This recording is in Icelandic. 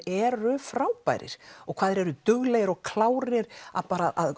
eru frábærir og hvað þeir eru duglegir og klárir að